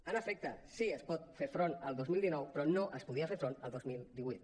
en efecte sí que s’hi pot fer front al dos mil dinou però no s’hi podia fer front el dos mil divuit